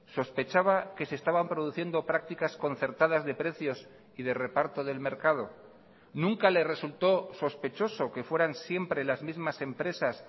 sospechaba que se estaban produciendo prácticas concertadas de precios y de reparto del mercado nunca le resultó sospechoso que fueran siempre las mismas empresas